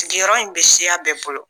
Sigiyɔrɔ in bɛ siya bɛɛ bolo